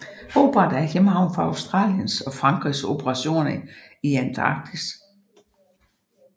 Hobart er hjemhavn for Australiens og Frankrigs operationer i Antarktis